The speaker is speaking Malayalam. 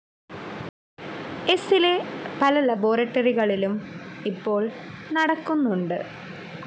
എസ്സിലെ പല ലബോറട്ടറികളിലും ഇപ്പോൾ നടക്കുന്നുണ്ട്.